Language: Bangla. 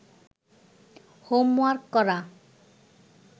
হোমওয়ার্ক করা